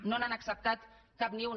no n’han acceptat cap ni una